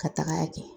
Ka taga kɛ